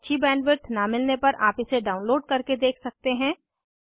अच्छी बैंडविड्थ न मिलने पर आप इसे डाउनलोड करके देख सकते हैं